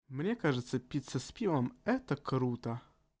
мне кажется пицца с пивом это круто